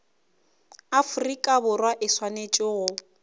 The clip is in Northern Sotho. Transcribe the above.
afrika borwa e swanetše go